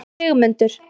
Sigmundur